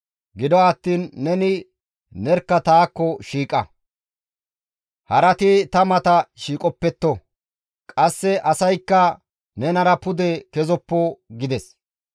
Gido attiin neni nerkka taakko shiiqa; harati ta mata shiiqopetto. Qasse asaykka nenara pude kezoppo» gides.